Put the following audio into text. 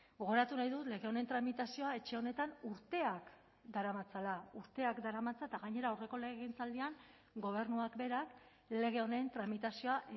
gogoratu nahi dut lege honen tramitazioa etxe honetan urteak daramatzala urteak daramatza eta gainera aurreko legegintzaldian gobernuak berak lege honen tramitazioa